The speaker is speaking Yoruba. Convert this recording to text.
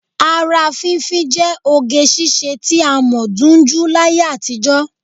Ara fínfín jẹ́ oge ṣiṣẹ́ tí a mọ̀ dunjú láyé àtijọ́